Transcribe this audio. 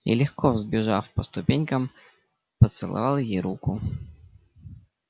и легко взбежав по ступенькам поцеловал ей руку